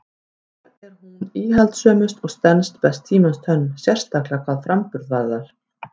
Þar er hún íhaldssömust og stenst best tímans tönn, sérstaklega hvað framburð varðar.